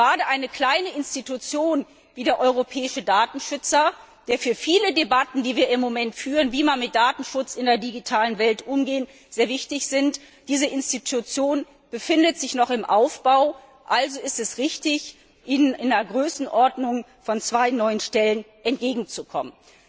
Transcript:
Und gerade bei einer kleinen Institution wie dem Europäischen Datenschutzbeauftragten, der für viele Debatten, die wir im Moment führen, wie man mit Datenschutz in der digitalen Welt umgeht, sehr wichtig ist und diese wichtige Institution befindet sich noch im Aufbau ist es richtig, ihr in der Größenordnung von zwei neuen Stellen entgegenzukommen.